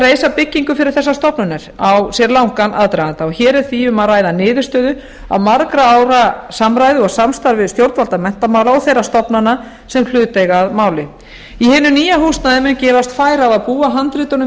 reisa þessar stofnanir á sér langan aðdraganda og hér er því um að ræða niðurstöðu af margra ára samræðu og samstarfi við stjórnvöld menntamála og þeirra stofnana sem hlut eiga að máli í hinu nýja húsnæði mun gefast færi á að búa handritunum